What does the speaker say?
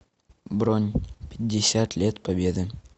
бронь пятьдесят лет победы